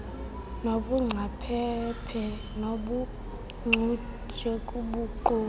nobungcaphephe nobuncutshe kuguqulo